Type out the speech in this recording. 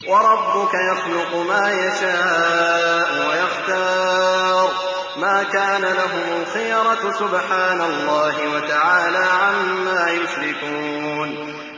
وَرَبُّكَ يَخْلُقُ مَا يَشَاءُ وَيَخْتَارُ ۗ مَا كَانَ لَهُمُ الْخِيَرَةُ ۚ سُبْحَانَ اللَّهِ وَتَعَالَىٰ عَمَّا يُشْرِكُونَ